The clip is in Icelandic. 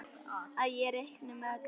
Að ég reikni með öllu.